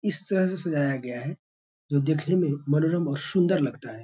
इस तरह से सजाया गया है जो देखने में मनोरम और सुन्दर लगता है।